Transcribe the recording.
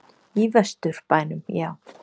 Í Vesturbænum, já.